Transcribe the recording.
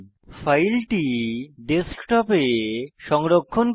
ফাইলটি ডেস্কটপে সংরক্ষণ করব